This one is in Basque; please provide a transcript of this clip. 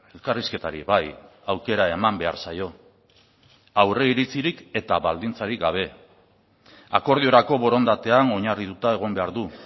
elkarrizketari bai aukera eman behar zaio aurre iritzirik eta baldintzarik gabe akordiorako borondatean oinarrituta egon behar du